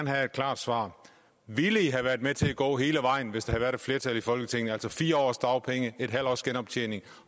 have et klart svar ville i have været med til at gå hele vejen hvis der havde været et flertal i folketinget altså fire års dagpenge en halv års genoptjening